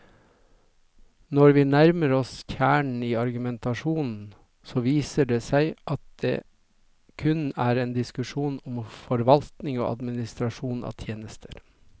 Når vi nærmer oss kjernen i argumentasjonen, så viser det seg at det kun er en diskusjon om forvaltning og administrasjon av tjenester.